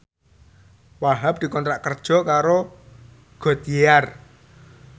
Wahhab dikontrak kerja karo Goodyear